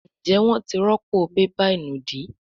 Njé wón tí rọpo bébà ìnùdí?